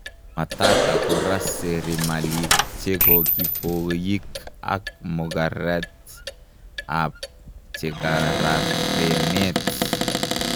matata kora serimalik chekokipoyik ak mogaret ap chekararenet